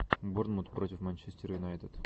борнмут против манчестер юнайтед